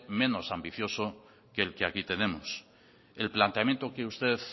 menos ambicioso que el que aquí tenemos el planteamiento que usted